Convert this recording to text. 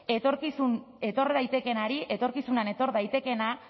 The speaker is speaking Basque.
etor daitekeenari etorkizunean etor daitekeena